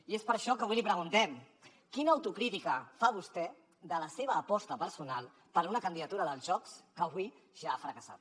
i és per això que avui li preguntem quina autocrítica fa vostè de la seva aposta personal per una candidatura dels jocs que avui ja ha fracassat